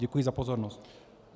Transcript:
Děkuji za pozornost.